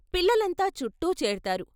పిల్లలంతా చుట్టూ చేరుతారు.